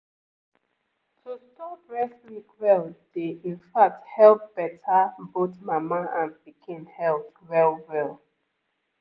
to store breast milk well dey in fact help better both mama and pikin health well-well